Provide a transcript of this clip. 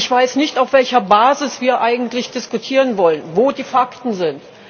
Ich weiß nicht, auf welcher Basis wir eigentlich diskutieren wollen, wo die Fakten sind.